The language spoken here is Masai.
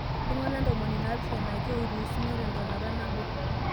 Ltung'ana ntomoni naapishana ake oiruusuno te ntonata nabo